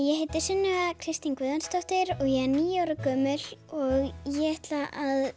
ég heiti Sunneva Kristín Guðjónsdóttir og ég níu ára gömul og ég ætla að